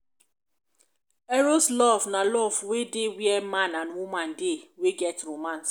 eros love na love wey dey where man and woman dey wey get romance